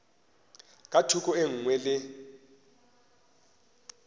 ka thoko e nngwe le